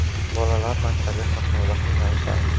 Bolalar maktabga qatnovda qiynalishadi.